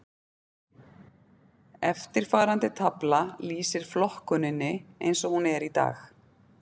Eftirfarandi tafla lýsir flokkuninni eins og hún er í dag.